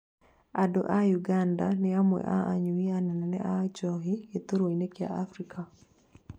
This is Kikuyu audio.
andũ a ũganda nĩ amwe a anyui anene a njohi gitarũinĩ gĩa Afrika